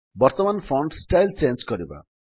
ବର୍ତ୍ତମାନ font style change କରିବା